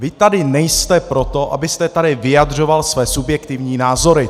Vy tady nejste proto, abyste tady vyjadřoval své subjektivní názory!